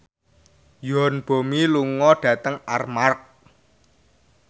Yoon Bomi lunga dhateng Armargh